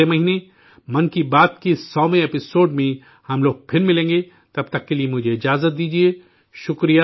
اگلے مہینے 'من کی بات' کے سوویں 100ویں ایپی سوڈ میں ہم لوگ پھر ملیں گے، تب تک کے لیے مجھے وداع دیجئے